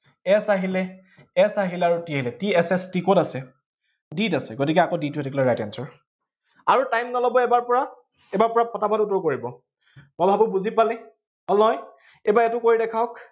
s আহিলে s আহিলে আৰু t আহিলে। t s s t কত আছে? d আছে, গতিকে আকৌ d টো হৈ থাকিলে right answer । আৰু time নলব এইবাৰৰ পৰা। এইবাৰ পূৰা পটাপট উত্তৰ কৰিব, মই ভাবো বুজি পালে, হল নহয়? এইবাৰ এইটো কৰি দেখাওক,